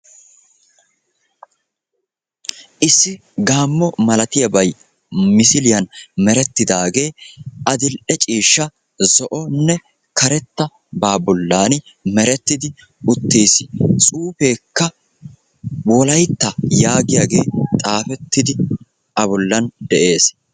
Issi gaammo malatiyabay misiliyan meretidaageenne adil''e ciishsha zo'onne karettabaa bollan merettidi uttiis. Tsuufeekka wolaytta yaagiyaage A bollan xaaafettidi de'ees.